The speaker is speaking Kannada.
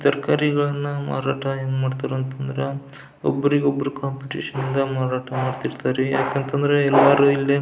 ತರಕಾರಿಗಳನ್ನ ಮಾರಾಟ ಹೆಂಗ್ ಮಾಡ್ತಾರಾ ಅಂತ ಅಂದ್ರ ಒಬ್ಬರಿಗೊಬ್ಬರು ಕಾಂಪಿಟಿಶನ್ ಮಾರಾಟ ಮಾಡಿರ್ತಾರೆಯಾಕ್ ಅಂತ ಅಂದ್ರೆ ಎಲ್ಲರೂ ಇಲ್ಲಿ --